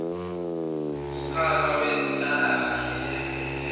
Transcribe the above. wumkhakha wezenhlalakahle lengxenye